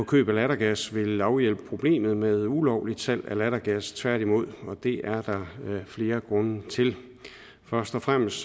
køb af lattergas vil afhjælpe problemet med ulovligt salg af lattergas tværtimod og det er der flere grunde til først og fremmest